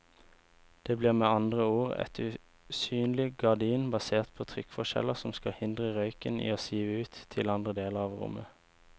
Det blir med andre ord et usynlig gardin basert på trykkforskjeller som skal hindre røyken i å sive ut til andre deler av rommet.